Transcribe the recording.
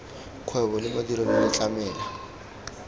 kgwebo le madirelo le tlamela